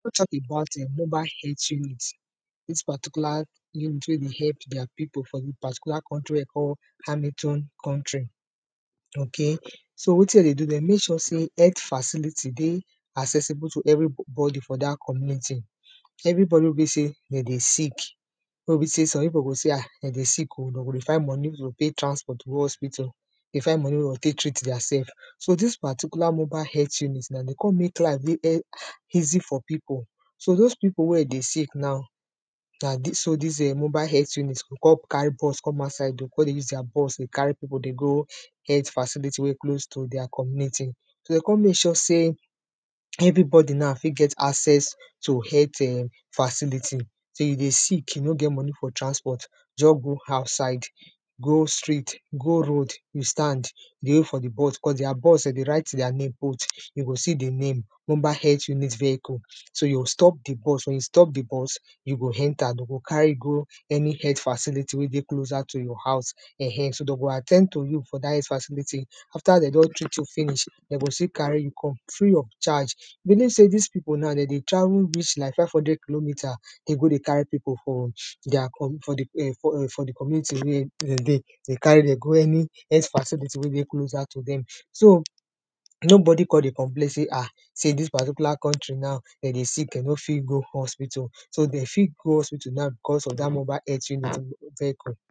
tok about um mobile heath unit dis particular unit wey dey help dia pipo for the particular country wey de call, amitone country. ok, so wetin de dey do, de mek sure sey health facility dey accessible to everybody for dat community. everybody wey be sey, de dey sick, wey be sey, some pipo go sey ah, de dey sick o, de go dey find money wey de go tey transport go hospital dey find money, wey de go tek treat dia sef. so dis particular mobile health unit, na de con mek life dey e, easy for pipo. so dose pipo wey dey sick now, na dis so, dis um mobile health unit go con carry bus come outside o, con dey use dia bus dey carry pipo dey go health facility we close to dia community. so de con mek sure sey, everybody na, fit get access to health um facility, sey you dey sick you no get money for transport just go outside, go street, go road, you stand, dey wait for the bus, cos dia bus de dey write dia name put, you go see the name, mobile health unit vehicle, so yo stop the bus, wen you stop the bus, you go enter de go carry you go any health facility wey dey closer to your house um, so de go at ten d to you for dat health facility. after de don treat you finish, de go still carry you come, free of charge. believe sey dis pipo na de dey travel reach like 500 kilometer, de go dey carry pipo from deir com for the, um for the community wey de dey, de carry dem go any, health facility wey dey closer to dem. so, nobody con dey complain sey ah, sey dis particular country now de dey sick, de no fit go hospital. so de fit go hospital na, because of dat mobile health unit um vehicle.